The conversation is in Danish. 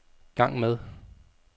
gang med